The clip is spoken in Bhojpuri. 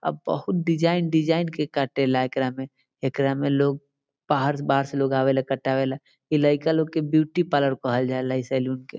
अब बहुत डिज़ाइन डिज़ाइन के काटे ला एकरा में एकरा में लोग बाहर-बाहर से लोग आवेला कटावे ला ई लईका लोग के ब्यूटी पार्लर कहल जाला ई सैलून के।